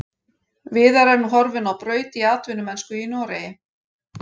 Viðar er nú horfinn á braut í atvinnumennsku í Noregi.